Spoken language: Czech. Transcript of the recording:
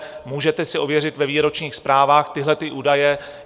Můžete si ověřit ve výročních zprávách tyhlety údaje.